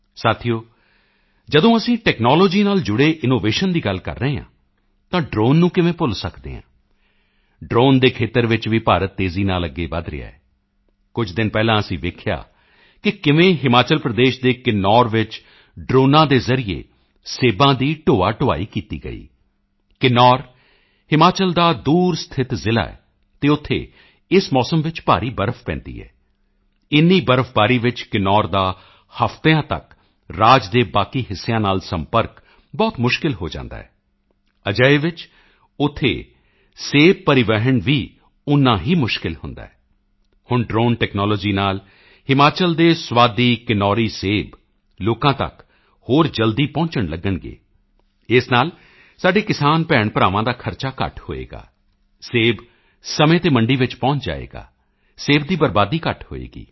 ਸਾਥੀਓ ਜਦੋਂ ਅਸੀਂ ਟੈਕਨੋਲੋਜੀ ਨਾਲ ਜੁੜੇ ਇਨੋਵੇਸ਼ਨ ਦੀ ਗੱਲ ਕਰ ਰਹੇ ਹਾਂ ਤਾਂ ਡ੍ਰੋਨ ਨੂੰ ਕਿਵੇਂ ਭੁੱਲ ਸਕਦੇ ਹਾਂ ਡ੍ਰੋਨ ਦੇ ਖੇਤਰ ਵਿੱਚ ਵੀ ਭਾਰਤ ਤੇਜ਼ੀ ਨਾਲ ਅੱਗੇ ਵਧ ਰਿਹਾ ਹੈ ਕੁਝ ਦਿਨ ਪਹਿਲਾਂ ਅਸੀਂ ਦੇਖਿਆ ਕਿ ਕਿਵੇਂ ਹਿਮਾਚਲ ਪ੍ਰਦੇਸ਼ ਕੇ ਕਿਨੌਰ ਵਿੱਚ ਡ੍ਰੋਨਾਂ ਦੇ ਜ਼ਰੀਏ ਸੇਬਾਂ ਦੀ ਢੋਆਢੋਆਈ ਕੀਤੀ ਗਈ ਕਿਨੌਰ ਹਿਮਾਚਲ ਦਾ ਦੂਰ ਸਥਿਤ ਜ਼ਿਲ੍ਹਾ ਹੈ ਅਤੇ ਉੱਥੇ ਇਸ ਮੌਸਮ ਵਿੱਚ ਭਾਰੀ ਬਰਫ ਪੈਂਦੀ ਹੈ ਇੰਨੀ ਬਰਫਬਾਰੀ ਵਿੱਚ ਕਿਨੌਰ ਦਾ ਹਫ਼ਤਿਆਂ ਤੱਕ ਰਾਜ ਦੇ ਬਾਕੀ ਹਿੱਸਿਆਂ ਨਾਲ ਸੰਪਰਕ ਬਹੁਤ ਮੁਸ਼ਕਿਲ ਹੋ ਜਾਂਦਾ ਹੈ ਅਜਿਹੇ ਵਿੱਚ ਉੱਥੋਂ ਸੇਬ ਦੀ ਟ੍ਰਾਂਸਪੋਰਟੇਸ਼ਨ ਵੀ ਉਤਨੀ ਹੀ ਮੁਸ਼ਕਿਲ ਹੁੰਦੀ ਹੈ ਹੁਣ ਡ੍ਰੋਨ ਟੈਕਨੋਲੋਜੀ ਨਾਲ ਹਿਮਾਚਲ ਦੇ ਸਵਾਦੀ ਕਿਨੌਰੀ ਸੇਬ ਲੋਕਾਂ ਤੱਕ ਹੋਰ ਜਲਦੀ ਪਹੁੰਚਣ ਲਗਣਗੇ ਇਸ ਨਾਲ ਸਾਡੇ ਕਿਸਾਨ ਭੈਣਾਂਭਰਾਵਾਂ ਦਾ ਖਰਚਾ ਘੱਟ ਹੋਵੇਗਾ ਸੇਬ ਸਮੇਂ ਤੇ ਮੰਡੀ ਪਹੁੰਚ ਜਾਵੇਗਾ ਸੇਬ ਦੀ ਬਰਬਾਦੀ ਘੱਟ ਹੋਵੇਗੀ